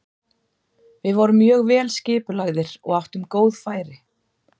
Við vorum mjög vel skipulagðir og áttum góð færi.